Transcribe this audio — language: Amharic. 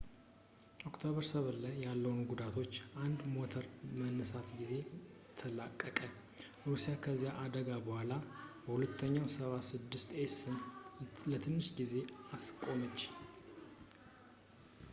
ኦክቶበር 7 ላይ ያለምንም ጉዳቶች፣ አንድ ሞተር በመነሳት ጊዜ ተላቀቀ። ሩሲያ ከዚያ አደጋ በኋላ il-76ኤስን ለትንሽ ጊዜ አስቆመች